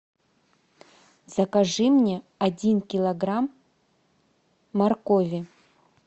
закажи мне один килограмм моркови